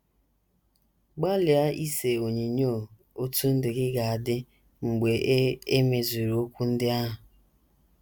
Gbalịa ise onyinyo otú ndụ gị ga - adị mgbe e e mezuru okwu ndị ahụ.